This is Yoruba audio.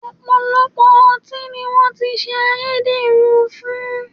Ọ̀pọ̀lọpọ̀ ọtí ni wọ́n ti ṣe ayédèrú fún